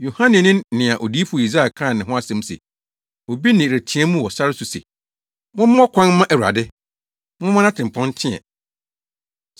Yohane ne nea odiyifo Yesaia kaa ne ho asɛm se, “Obi nne reteɛ mu wɔ sare so se, ‘Mommɔ kwan mma Awurade; momma nʼatempɔn nteɛ!’ ”